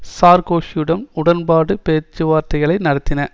சார்க்கோஸியுடன் உடன்பாட்டுப் பேச்சுவார்த்தைகளை நடத்தின